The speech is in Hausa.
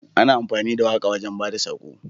Ana amfani da waƙa wajan bada sako